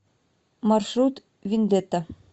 маршрут виндета